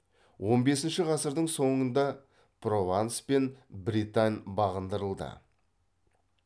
он бесінші ғасырдың соңында прованс пен бретань бағындырылды